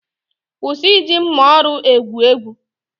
kwụsị iji mma oru egwu egwu!